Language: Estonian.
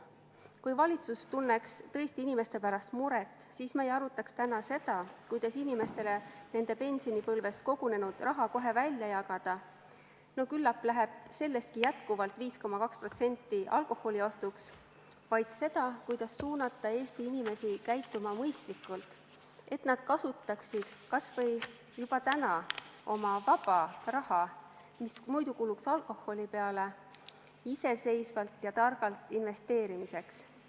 Kui valitsus tunneks tõesti inimeste pärast muret, siis me ei arutaks täna seda, kuidas inimestele nende pensionipõlves kogunenud raha kohe välja jagada – no küllap läheb sellestki jätkuvalt 5,2% alkoholiostuks –, vaid seda, kuidas suunata Eesti inimesi käituma mõistlikult, et nad kasutaksid kas või juba täna oma vaba raha, mis muidu kuluks alkoholi peale, iseseisvalt ja targalt investeerimiseks.